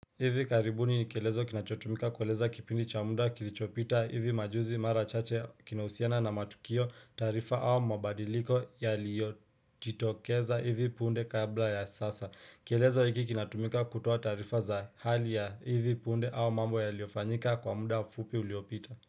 Hivi karibuni nikelezo kinachotumika kueleza kipindi cha munda kilichopita hivi majuzi mara chache kinahusiana na matukio tarifa au mabadiliko yaliyojitokeza hivi punde kabla ya sasa kielezo hiki kinatumika kutoa tarifa za hali ya hivi punde au mambo yaliofanyika kwa munda fupi uliopita.